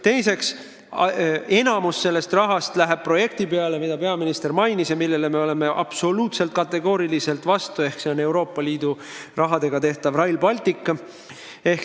Teiseks, enamik sellest rahast läheb projekti peale, mida peaminister mainis ja millele me oleme kategooriliselt vastu: see on Euroopa Liidu raha eest rajatav Rail Baltic.